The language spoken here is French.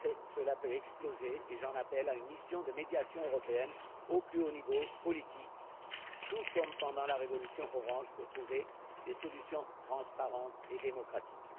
Cela peut exploser et j'appelle de mes vœux une mission de médiation européenne au plus haut niveau politique, tout comme pendant la révolution orange, pour trouver des solutions transparentes et démocratiques.